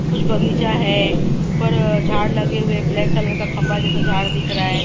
कुछ बगीचा है ऊपर अ झाड़ लगे हुए ब्लैक कलर का खंभा जैसा झाड़ दिख रहा है।